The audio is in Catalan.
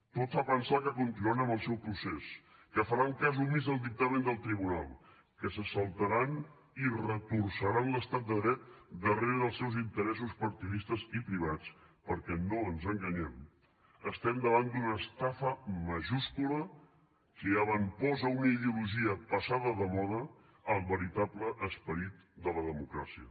tot fa pensar que continuaran amb el seu procés que faran cas omís al dictamen del tribunal que se saltaran i retorçaran l’estat de dret darrere dels seus interessos partidistes i privats perquè no ens enganyem estem davant d’una estafa majúscula que avantposa una ideologia passada de moda al veritable esperit de la democràcia